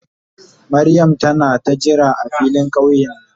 Mariam tana ka jira a filin kauye ne?